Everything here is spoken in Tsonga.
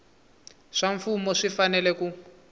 swa mfumo swi fanele ku